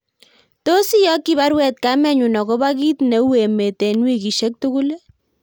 Tos iyokyi baruet kamenyun agobo kit ne u emet en wikisyek tugul